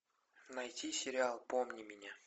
найти сериал помни меня